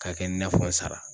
K'a kɛ inafɔ n sara.